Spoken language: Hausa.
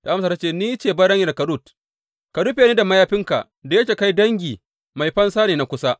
Ta amsa ta ce, Ni ce baranyarka Rut, ka rufe ni ta mayafinka da yake kai dangi, mai fansa ne na kusa.